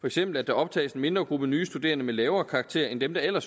eksempel at der optages en mindre gruppe nye studerende med lavere karakterer end dem der eller